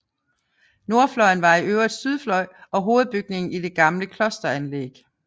Nordfløjen var i øvrigt sydfløj og hovedbygning i det gamle klosteranlæg